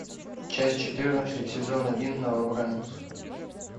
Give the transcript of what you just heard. часть четырнадцать сезон один новобранец